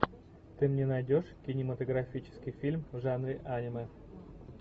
ты мне найдешь кинематографический фильм в жанре аниме